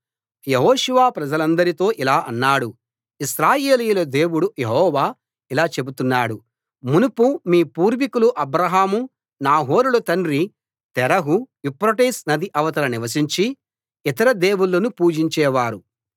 యెహోషువ ప్రజలందరితో ఇలా అన్నాడు ఇశ్రాయేలీయుల దేవుడు యెహోవా ఇలా చెబుతున్నాడు మునుపు మీ పూర్వీకులు అబ్రాహాము నాహోరుల తండ్రి తెరహు యూఫ్రటీసు నది అవతల నివసించి ఇతర దేవుళ్ళను పూజించేవారు